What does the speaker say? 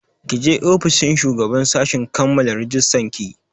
Ki je ofishin shugaban sashi kammala rajistan ki!